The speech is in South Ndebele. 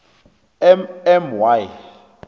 m m y